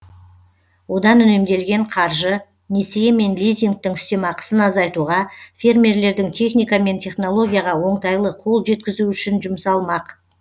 одан үнемделген қаржы несие мен лизингтің үстемақысын азайтуға фермерлердің техника мен технологияға оңтайлы қол жеткізуі үшін жұмсалмақ